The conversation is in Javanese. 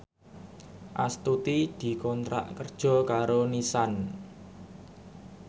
Astuti dikontrak kerja karo Nissan